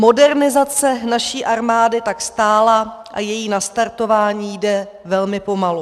Modernizace naší armády tak stála a její nastartování jde velmi pomalu.